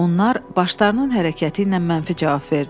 Onlar başlarının hərəkəti ilə mənfi cavab verdilər.